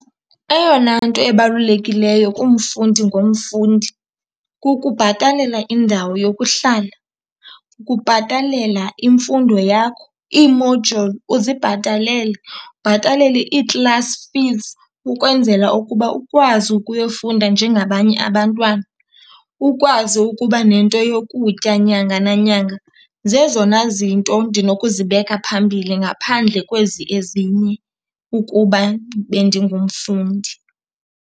Eyona nto ebalulekileyo kumfundi ngomfundi kukubhatalela indawo yokuhlala, ukubhatalela imfundo yakho, ii-module uzibhatalele, ubhatalele ii-class fees ukwenzela ukuba ukwazi ukuyofunda njengabanye abantwana, ukwazi ukuba nento yokutya nyanga nanyanga. Zezona zinto ndinokuzibeka phambili ngaphandle kwezi ezinye, ukuba bendingumfundi.